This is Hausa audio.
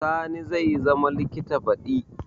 Sani zai zama likita baɗi